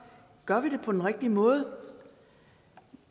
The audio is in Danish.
gør vi det på den rigtige måde